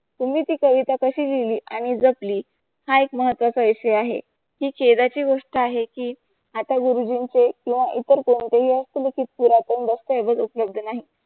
त्यांनी ती कविता कशी लिहिली आणि जपली हा एक महत्व चा विषय आहे. हि ची गोष्ट आहे की आता गुरुजींचे किंवा इतर कोणतेही हस्तलिखित पुरातन दस्तऐवज उपलब्ध नाही.